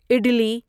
عدلی